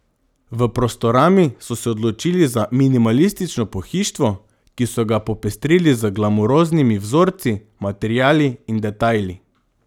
V Prostorami so se odločili za minimalistično pohištvo, ki so ga popestrili z glamuroznimi vzorci, materiali in detajli.